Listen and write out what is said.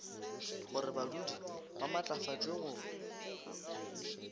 gore badudi ba maatlafatšwe go